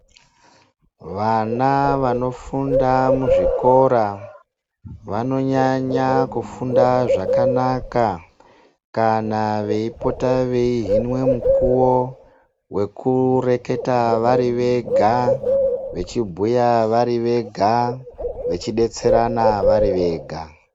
Vana vanofunda muzvikora vanonyanya kufunda zvakana kana veipota veihinwe mukuwo wekureketa vari vega, vechibhuya vari vega, vechidetserana vari vega.